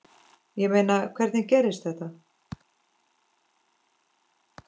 Ég meina, hvernig gerðist þetta?